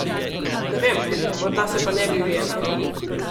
Ne vem, morda se pa ne bi ujela.